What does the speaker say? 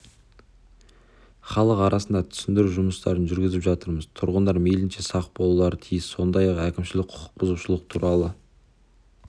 халық арасында түсіндіру жұмыстарын жүргізіп жатырмыз тұрғындар мейлінше сақ болулары тиіс сондай-ақ әкімшілік құқық бұзушылық туралы